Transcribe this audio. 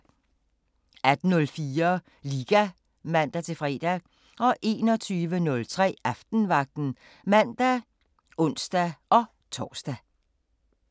18:04: Liga (man-fre) 21:03: Aftenvagten (man og ons-tor)